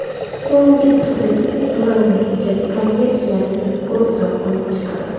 So‘nggi turdagi durang natija koreyaliklarni guruhdan olib chiqadi.